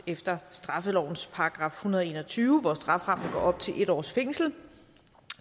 efter straffelovens § en hundrede og en og tyve hvor strafferammen går op til en års fængsel